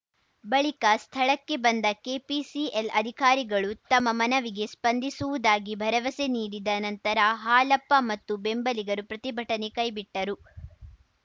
ಬಳಿಕ ಸ್ಥಳಕ್ಕೆ ಬಂದ ಕೆಪಿಸಿಎಲ್‌ ಅಧಿಕಾರಿಗಳು ತಮ್ಮ ಮನವಿಗೆ ಸ್ಪಂದಿಸುವುದಾಗಿ ಭರವಸೆ ನೀಡಿದ ನಂತರ ಹಾಲಪ್ಪ ಮತ್ತು ಬೆಂಬಲಿಗರು ಪ್ರತಿಭಟನೆ ಕೈಬಿಟ್ಟರು